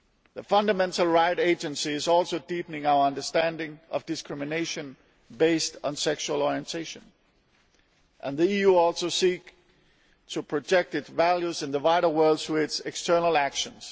The Fundamental Rights Agency is deepening our understanding of discrimination based on sexual orientation, and the EU also seeks to project its values in the wider world through its external actions.